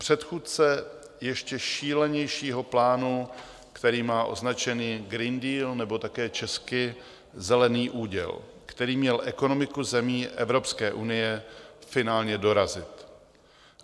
Předchůdce ještě šílenějšího plánu, který má označení Green Deal nebo také česky zelený úděl, který měl ekonomiku zemí Evropské unie finálně dorazit.